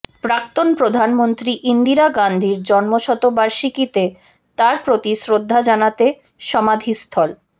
প্রাক্তন প্রধানমন্ত্রী ইন্দিরা গাঁধীর জন্মশতবার্ষিকীতে তাঁর প্রতি শ্রদ্ধা জানাতে সমাধিস্থল